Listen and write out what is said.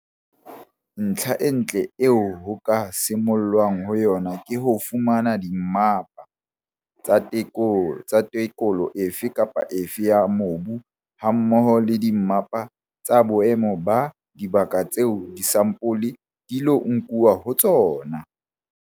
Ntlha e ntle eo ho ka simollwang ho yona ke ho fumana dimmapa tsa tekolo efe kapa efe ya mobu hammoho le dimmapa tsa boemo ba dibaka tseo disampole di ilo nkuwa ho tsona.